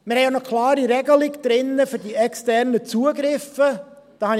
Wir haben auch eine klare Regelung für die externen Zugriffe drin.